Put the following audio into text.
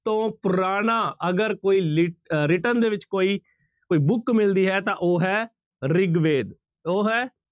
ਤੋਂ ਪੁਰਾਣਾ ਅਗਰ ਕੋਈ ਲਿ ਅਹ written ਦੇ ਵਿੱਚ ਕੋਈ ਕੋਈ book ਮਿਲਦੀ ਹੈ ਤਾਂ ਉਹ ਹੈ ਰਿਗਵੇਦ, ਉਹ ਹੈ